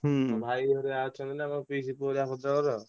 ଭାଇ ଏରିକା ଅଛନ୍ତି ନା ମୋ ପିଉସୀ ପୁଅ ଯା